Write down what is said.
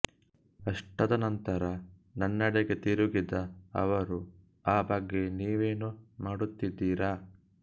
ಅಷ್ಟಾದ ನಂತರ ನನ್ನೆಡೆಗೆ ತಿರುಗಿದ ಅವರು ಆ ಬಗ್ಗೆ ನೀವೇನು ಮಾಡುತ್ತಿದ್ದೀರಾ